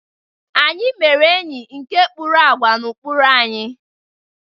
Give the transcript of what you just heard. Anyị mere enyi nke kpụrụ àgwà na ụkpụrụ anyị.